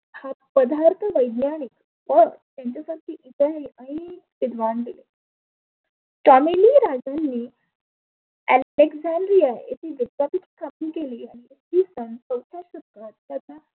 पदार्थ वैज्ञानीक टॉमेली राजांनी येथे विद्यापीठ स्थापीत केले.